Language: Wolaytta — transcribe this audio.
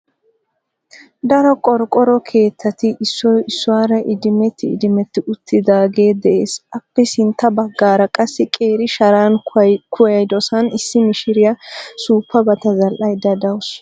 Daro qorqoro keettati issoy issuwaara idimetti idimetti uttidaage de'ees. Aappe sintta baggaara qassi qeeri sharan kuwayidosan issi mishiriya suuppabata zadhdhaydda dawusu.